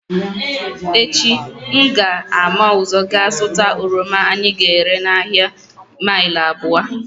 Echi m ga-ama ụzọ gaa zụta oroma anyị ga-ere n’ahịa mile abụo